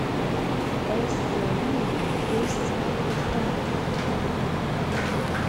ẹsẹ yìí ṣé é sáré dáadáa